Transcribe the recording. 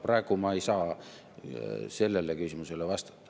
Praegu ma ei saa sellele küsimusele vastata.